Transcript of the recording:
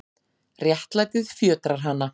Réttlætið fjötrar hana.